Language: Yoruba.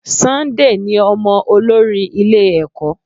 Sunday ní ọmọ olórí ilé ẹ̀kọ́.